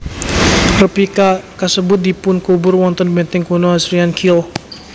Replica kasebut dipunkubur wonten benteng kuno Assyrian Keel